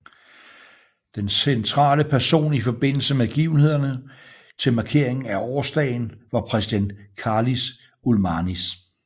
Den centrale person i forbindelse med begivenhederne til markeringen af årsdagen var præsident Karlis Ulmanis